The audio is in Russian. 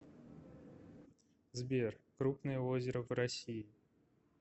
сбер крупное озеро в россии